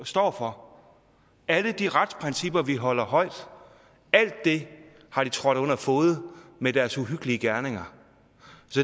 står for alle de retsprincipper vi holder højt har de trådt under fode med deres uhyggelige gerninger